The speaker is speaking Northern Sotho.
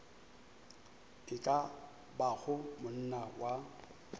e ka bago monna wa